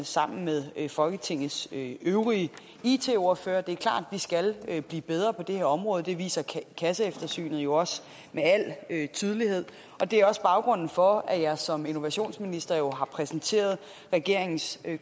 med folketingets øvrige it ordførere det er klart vi skal blive bedre på det her område det viser kasseeftersynet jo også med al tydelighed og det er også baggrunden for at jeg som innovationsminister har præsenteret regeringens